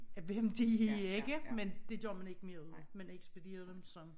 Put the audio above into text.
Hvem de er ikke? Men det gør man ikke mere ud af man ekspederer dem som